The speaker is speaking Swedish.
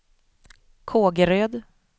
Kågeröd